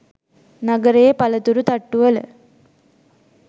නගරයේ පලතුරු තට්ටුවල